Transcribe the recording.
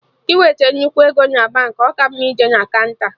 Iweta nnukwu ego na Baankị, ọ ka mma ije na kaụnta